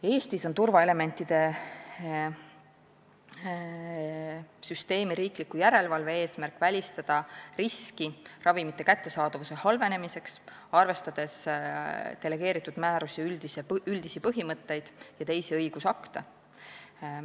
Eestis on turvaelementide süsteemi riikliku järelevalve eesmärk välistada risk, et ravimite kättesaadavus halveneb, arvestades delegeeritud määruse üldisi põhimõtteid ja teisi õigusakte.